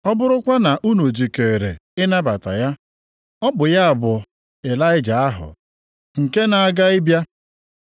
Ọ bụrụkwa na unu jikeere ịnabata ya, ọ bụ ya bụ Ịlaịja ahụ, nke na a ga ịbịa.